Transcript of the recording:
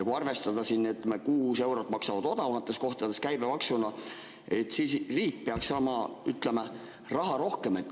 Kui arvestada, et need maksavad odavamates kohtades koos käibemaksuga kuus eurot, siis riik peaks saama, ütleme, raha rohkem.